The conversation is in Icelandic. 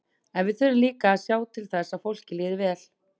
En við þurfum líka að sjá til þess að fólkinu líði vel.